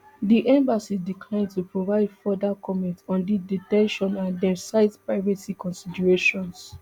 di embassy decline to provide further comments on di de ten tion and dem cite privacy considerations